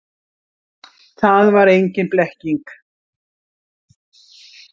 Að það var engin blekking.